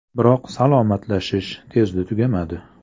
Biroq “salomlashish” tezda tugamadi.